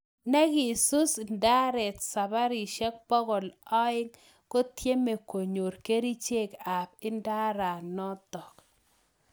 Nekisuus ndarett saparisiek pokol oeng kotyeme konyor kericheek ap indaraa notok